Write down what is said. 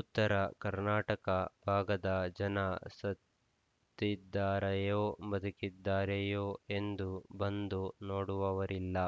ಉತ್ತರ ಕರ್ನಾಟಕ ಭಾಗದ ಜನ ಸತ್ತಿ ದ್ದಾರೆಯೋ ಬದುಕಿದ್ದಾರೆಯೋ ಎಂದು ಬಂದು ನೋಡುವವರಿಲ್ಲ